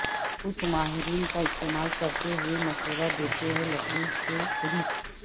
کچھ ماہرین کا استعمال کرتے ہوئے مشورہ دیتے ہیں لکڑی کے ریک